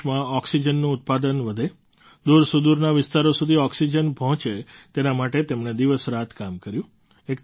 દેશમાં ઑક્સિજનનું ઉત્પાદન વધે દૂરસુદૂરના વિસ્તારો સુધી ઑક્સિજન પહોંચે તેના માટે તેમણે દિવસરાત કામ કર્યું